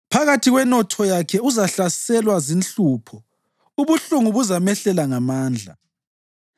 Phakathi kwenotho yakhe uzahlaselwa zinhlupho; ubuhlungu buzamehlela ngamandla.